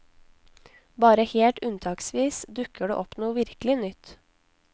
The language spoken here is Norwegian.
Bare helt unntaksvis dukker det opp noe virkelig nytt.